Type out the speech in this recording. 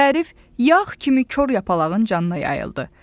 Tərif yağ kimi kor yapalağın canına yayıldı.